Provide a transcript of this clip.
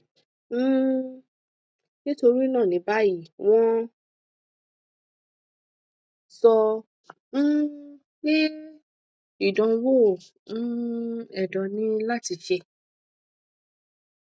um nitorina ni bayi wọn sọ um pe idanwo um ẹdọ ni lati ṣe